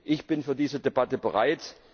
Ich bin für diese Debatte bereit.